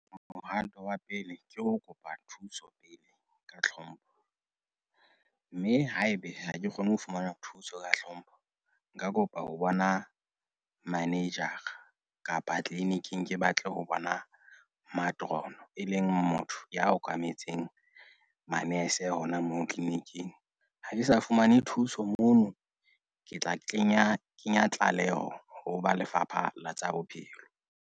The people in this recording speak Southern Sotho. Mohato wa pele ke ho kopa thuso pele ka hlompho, mme haebe ha ke kgone ho fumana thuso ka hlompho nka kopa ho bona manager-a kapa clinic-ing ke batle ho bona matroon, e leng motho ya okametseng manese hona moo clinic-ing. Ha ke sa fumane thuso moo ke tla kenya kenya tlaleho ho ba Lefapha la tsa Bophelo.